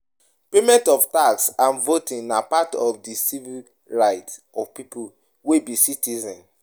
Payment of tax and voting na part of di civic rights of pipo wey be citizens